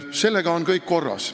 Sellega on kõik korras.